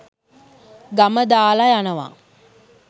ගම දාලා යනවා.